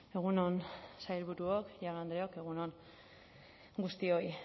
egun on sailburuok jaun andreok egun on guztioi